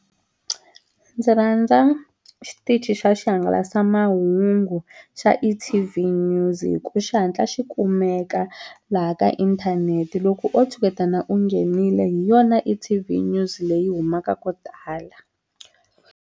Ndzi rhandza xitichi xa xihangalasamahungu xa E_T_V News hi ku xi hatla xi kumeka laha ka inthanete loko o tshuketana u nghenile hi yona E_T_V News leyi humaka ko tala.